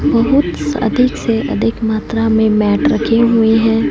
बहुत स अधिक से अधिक मात्रा में मैट रखें हुए है।